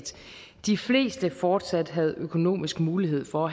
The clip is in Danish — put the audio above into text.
de fleste fortsat havde økonomisk mulighed for